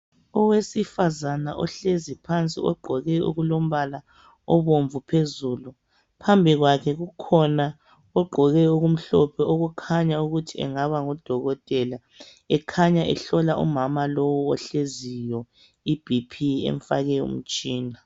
Owesifazana ohlezi phansi ogqoke okulombala obomvu phezulu. Phambi kwakhe kukhona ogqoke okumhlophe okukhanya ukuthi engaba ngudokotela. Ekhanya ehlola umama lo ohleziyo IBP emfake Umtshina